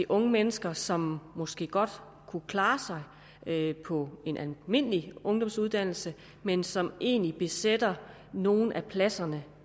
unge mennesker som måske godt kunne klare sig på en almindelig ungdomsuddannelse men som egentlig besætter nogle af pladserne